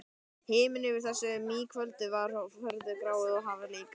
Himinninn yfir þessu maíkvöldi var furðu grár og hafið líka.